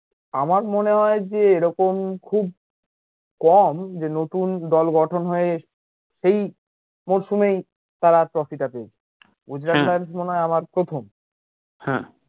আমার মনে হয় যে এরকম খুব কম যে নতুন দল গঠন হয়ে সেই প্রথমেই তারা trophy টা পেয়েছে আমার প্রথম হ্যাঁ